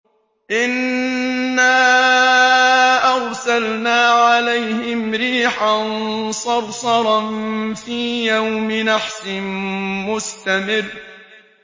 إِنَّا أَرْسَلْنَا عَلَيْهِمْ رِيحًا صَرْصَرًا فِي يَوْمِ نَحْسٍ مُّسْتَمِرٍّ